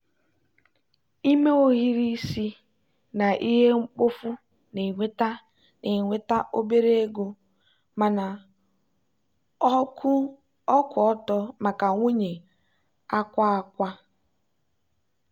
ime ohiri isi na ihe mkpofu na-enweta na-enweta obere ego mana ọ kwụ ọtọ maka nwunye akwa akwa.